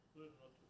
Buyurun, oturun.